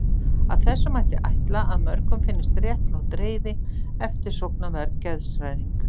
Af þessu mætti ætla að mörgum finnist réttlát reiði eftirsóknarverð geðshræring.